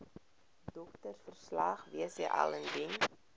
doktersverslag wcl indien